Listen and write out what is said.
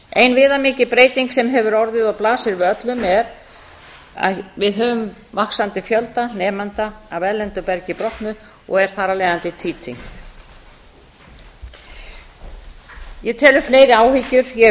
ein viðamikil breyting sem hefur orðið og blasir við öllum er að við höfum vaxandi fjölda nemenda af erlendu bergi brotnu og er þar af leiðandi tvítyngt ég tel fleiri áhyggjur ég hef